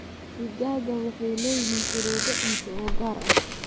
Digaagga waxay leeyihiin shuruudo cunto oo gaar ah.